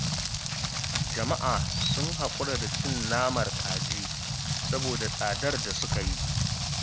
Jam'a sun haƙura da cin naman kaji, saboda tsadar da suka yi.